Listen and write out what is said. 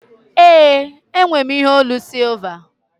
Ee, enwe m ihe onu sịlva